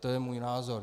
To je můj názor.